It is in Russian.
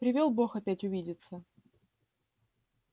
привёл бог опять увидеться